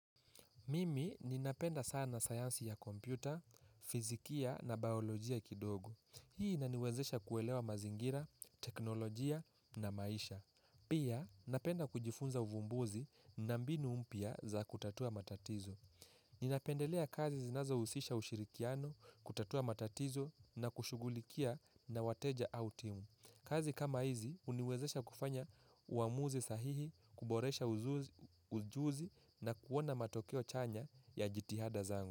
Mimi ninapenda sana sayansi ya kompyuta, fizikia na baiolojia kidogo. Hii inaniwezesha kuelewa mazingira, teknolojia na maisha. Pia, napenda kujifunza uvumbuzi na mbinu mpya za kutatua matatizo. Ninapendelea kazi zinazohusisha ushirikiano, kutatua matatizo na kushughulikia na wateja au timu. Kazi kama hizi huniwezesha kufanya uamuzi sahihi, kuboresha ujuzi na kuona matokeo chanya ya jitihada zangu.